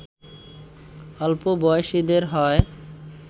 অল্প বয়সীদের হয়